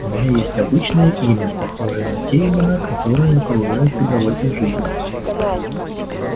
у меня есть обычное имя похожее на те имена которые окружают тебя в этой жизни